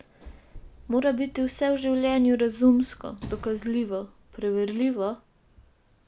Mora biti vse v življenju razumsko, dokazljivo, preverljivo?